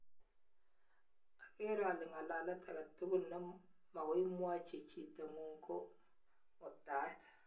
Agere ale ng'alalet age tugul ne magoimwochi chiitng'ung ko ngwektaet